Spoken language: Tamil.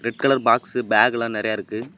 ரெட் கலர் பாக்ஸ் பேக் எல்லாம் நெறய இருக்கு.